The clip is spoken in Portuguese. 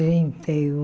Trinta e um.